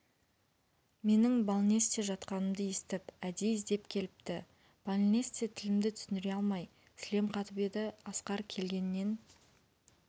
менің балнесте жатқанымды естіп әдейі іздеп келіпті балнесте тілімді түсіндіре алмай сілем қатып еді асқар келгеннен